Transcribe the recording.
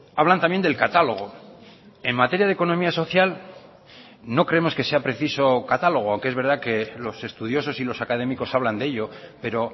hablan también del catálogo en materia de economía social no creemos que sea preciso catálogo aunque es verdad que los estudiosos y los académicos hablan de ello pero